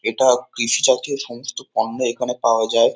এটা কৃষি জাতীয় সমস্ত পণ্য এখানে পাওয়া যায়।